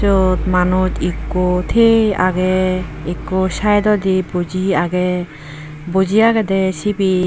Iyot manuj ikko tiye age ikko side ode buji age buji agede sibay.